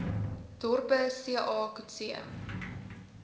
dorpe ca coetzee